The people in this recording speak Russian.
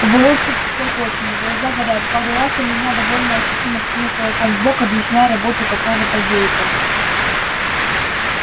волосы всклокочены глаза горят пару раз он меня довольно ощутимо ткнул кулаком в бок объясняя работу какого-то гейта